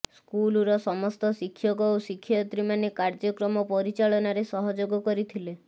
ସ୍କୁଲର ସମସ୍ତ ଶିକ୍ଷକ ଓ ଶିକ୍ଷୟତ୍ରୀମାନେ କାର୍ଯ୍ୟକ୍ରମ ପରିଚାଳନାରେ ସହଯୋଗ କରିଥିଲେ